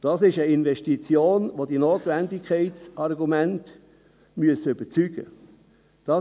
das ist eine Investition, bei der die Notwendigkeitsargumente überzeugen müssen.